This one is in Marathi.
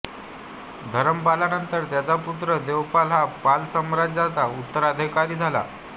धरमपालानंतर त्याचा पुत्र देवपाल हा पाल साम्राज्याचा उत्तराधिकारी झाला